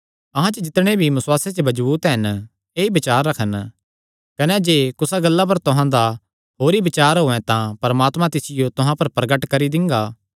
अहां च जितणे भी बसुआसे च मजबूत हन ऐई बचार रखन कने जे कुसा गल्ला च तुहां दा होर ई बचार होयैं तां परमात्मा तिसियो भी तुहां पर प्रगट करी दिंगा